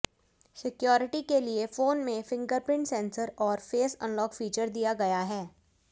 security के लिए phone में फिंगरप्रिंट सेंसर और फेस अनलॉक फीचर दिया गया है